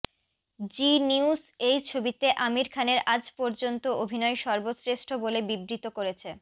জী নিউস এই ছবিতে আমীর খানের আজ পর্যন্ত অভিনয় সর্বশ্রেষ্ঠ বলে বিবৃত করেছে